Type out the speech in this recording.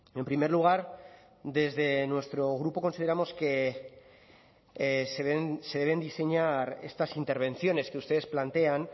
en primer lugar desde nuestro grupo consideramos que se deben diseñar estas intervenciones que ustedes plantean